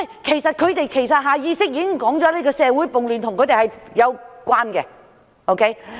其實他們下意識已說出社會暴亂與他們有關。